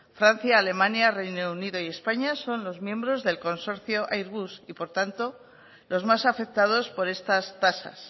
francia alemania reino unido y españa son los miembros del consorcio airbus y por tanto los más afectados por estas tasas